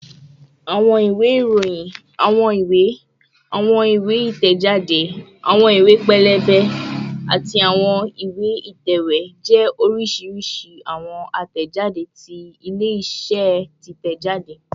Awọn iwe iroyin, awọn iwe, awọn iwe iroyin, awọn iwe itẹjade, awọn iwe pẹlẹbẹ, ati awọn iwe itẹwe jẹ oriṣiriṣi awọn atẹjade ti ile-iṣẹ titẹjade